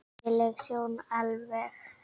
Ægi leg sjón alveg.